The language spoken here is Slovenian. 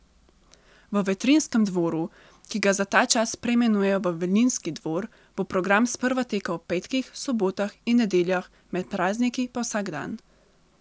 V Vetrinjskem dvoru, ki ga za ta čas preimenujejo v Vilinski dvor, bo program sprva tekel ob petkih, sobotah in nedeljah, med prazniki pa vsak dan.